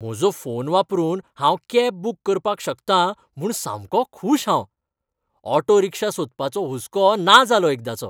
म्हजो फोन वापरून हांव कॅब बूक करपाक शकतां म्हूण सामको खूश हांव. ऑटो रिक्षा सोदपाचो हुस्को ना जालो एकदांचो.